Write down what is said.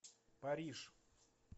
париж